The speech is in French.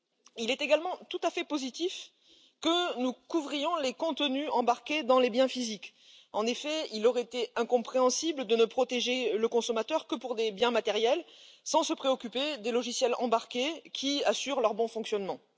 Il est également tout à fait positif que nous couvrions les contenus embarqués dans les biens physiques. En effet, il aurait été incompréhensible de ne protéger le consommateur que pour des biens matériels, sans se préoccuper des logiciels embarqués qui assurent leur bon fonctionnement.